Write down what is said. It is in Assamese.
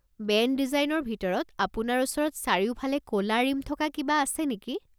বেণ্ড ডিজাইনৰ ভিতৰত আপোনাৰ ওচৰত চাৰিওফালে ক'লা ৰিম থকা কিবা আছে নেকি?